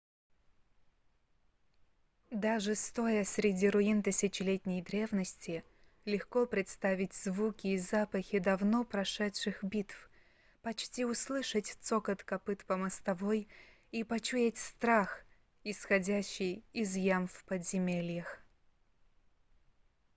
даже стоя среди руин тысячелетней древности легко представить звуки и запахи давно прошедших битв почти услышать цокот копыт по мостовой и почуять страх исходящий из ям в подземельях